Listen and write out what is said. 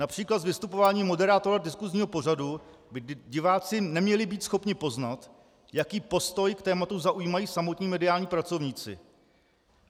Například z vystupování moderátora diskusního pořadu by diváci neměli být schopni poznat, jaký postoj k tématu zaujímají samotní mediální pracovníci.